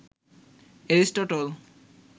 Aristotle